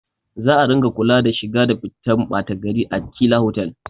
Za a ringa kula da shiga da fitan ɓata gari a chila otal